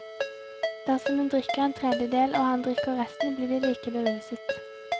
Dersom hun drikker en tredjedel og han drikker resten, blir de like beruset.